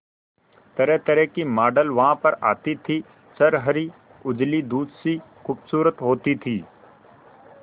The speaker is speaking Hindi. तरहतरह की मॉडल वहां पर आती थी छरहरी उजली दूध सी खूबसूरत होती थी